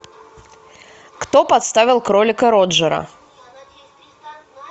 кто подставил кролика роджера